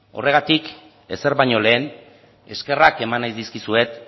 horregatik ezer baino lehen eskerrak eman nahi dizkizuet